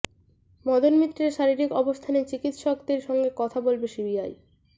মদন মিত্রের শারীরিক অবস্থা নিয়ে চিকিত্সকদের সঙ্গে কথা বলবে সিবিআই